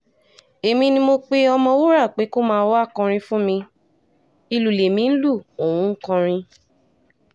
èmi ni mo pe ọ̀mọ̀wúrà pé kó máa wáá kọrin fún mi ìlú lèmi ń lu òun ń kọrin